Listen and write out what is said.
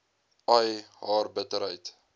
ai haar bitterheid